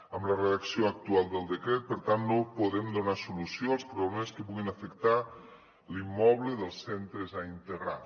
amb la redacció actual del decret per tant no podem donar solució als problemes que puguin afectar l’immoble dels centres a integrar